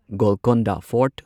Golconda fort